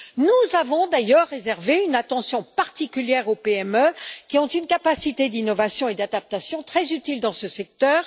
Nous avons d'ailleurs réservé une attention particulière aux PME qui ont une capacité d'innovation et d'adaptation très utile dans ce secteur.